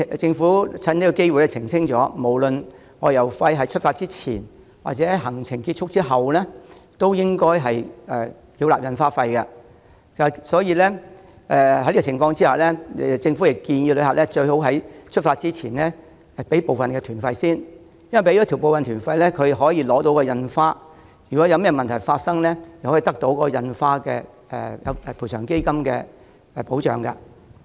政府藉此機會澄清，不管外遊費是出發前或行程結束後繳付，同樣須繳付印花徵費。政府建議旅客在出發前最好先繳付部分團費，以便取得印花。如行程中發生事故，也可憑印花得到賠償基金的保障。